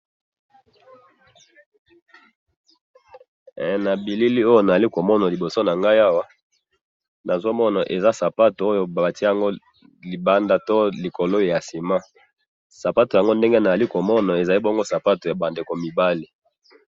he na bilili oyo nazali komona na liboso na ngayi awa nazo mona eza sapatou batiye yango libanda to likolo ya sima sapatou yango ndenge nazali komona ezali ndenge sapatou ya bana mibali.